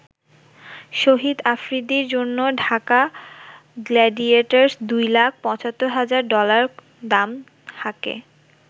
শহীদ আফ্রিদির জন্য ঢাকা গ্ল্যাডিয়েটর্স দুই লাখ ৭৫ হাজার ডলার দাম হাঁকে।